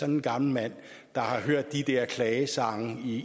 en gammel mand der har hørt de der klagesange